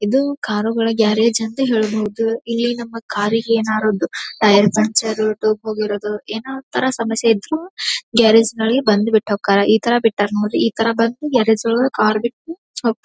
ಇದು ಕಾರು ಗಳ ಗ್ಯಾರೇಜ್ ಅಂತ ಹೇಳಬಹುದು ಇಲ್ಲಿ ನಮ್ಮ ಕಾರ್ ಗೆ ಏನಾದರು ಒಂದು ಟೈರ್ ಪಂಚರ್ ಟ್ಯೂಬ್ ಹೋಗಿರೋದು ಏನೋ ಒಂಥರಾ ಸಮಸ್ಯೆ ಇದ್ರೂ ಗ್ಯಾರೇಜ್ ನಲ್ಲಿ ಬಂದು ಬಿಟ್ಟು ಹೋಗತ್ತರಾ ಇತರ ಬಿತ್ತರ ನೋಡ್ರಿ ಇತರ ಬಂದು ಗ್ಯಾರೇಜ್ ಒಳಗ ಕಾರ್ ಬಿಟ್ಟು ಹೋಗ್ತಾರೆ.